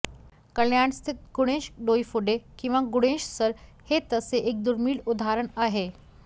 कल्याणस्थित गुणेश डोईफोडे किंवा गुणेश सर हे तसे एक दुर्मीळ उदाहरण आहे